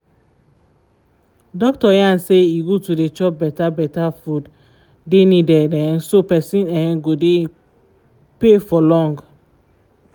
doctor yarn say e good to dey chop better better food dey needed um so person um go dey pay for long